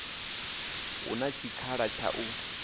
hu na tshikhala tsha u